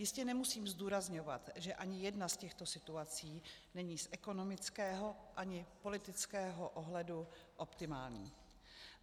Jistě nemusím zdůrazňovat, že ani jedna z těchto situací není z ekonomického ani politického ohledu optimální.